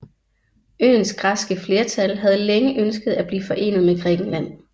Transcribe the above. Øens græske flertal havde længe ønsket at blive forenet med Grækenland